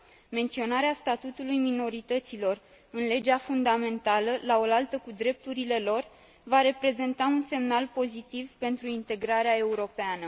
Menționarea statutului minorităților în legea fundamentală, laolaltă cu drepturile lor, va reprezenta un semnal pozitiv pentru integrarea europeană.